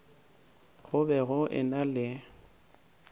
go be go ena le